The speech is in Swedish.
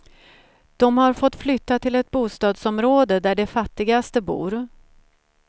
Dom har fått flytta till ett bostadsområde där de fattigaste bor.